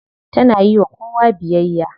Tana yiwa kowa biyayya.